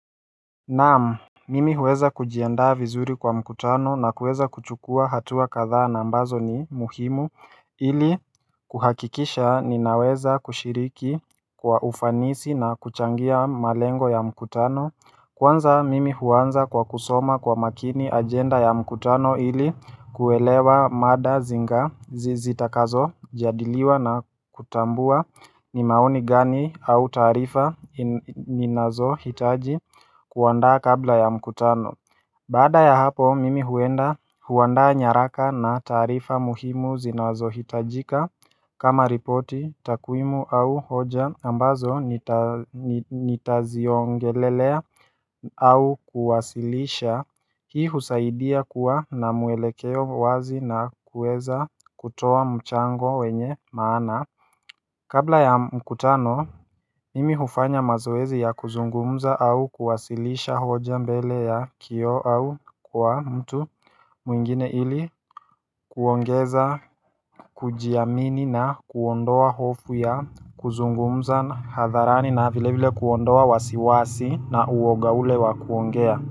Naam, mimi huweza kujiandaa vizuri kwa mkutano na kuweza kuchukua hatua kadhaa na ambazo ni muhimu ili kuhakikisha ninaweza kushiriki kwa ufanisi na kuchangia malengo ya mkutano Kwanza mimi huanza kwa kusoma kwa makini ajenda ya mkutano ili kuelewa mada zinga zizitakazo jadiliwa na kutambua ni maoni gani au taarifa ninazo hitaji kuandaa kabla ya mkutano Baada ya hapo mimi huenda huandaa nyaraka na taarifa muhimu zinazohitajika kama ripoti takwimu au hoja ambazo nitaziongelelea au kuwasilisha Hii husaidia kuwa na muelekeo wazi na kuweza kutoa mchango wenye maana Kabla ya mkutano, mimi hufanya mazoezi ya kuzungumza au kuwasilisha hoja mbele ya kioo au kwa mtu mwingine ili kuongeza, kujiamini na kuondoa hofu ya kuzungumza na hadharani na vile vile kuondoa wasiwasi na uoga ule wa kuongea.